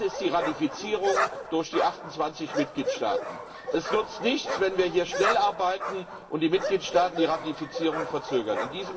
Das ist die Ratifizierung durch die 28Mitgliedstaaten. Es nützt nichts, wenn wir hier schnell arbeiten und die Mitgliedstaaten die Ratifizierung verzögern.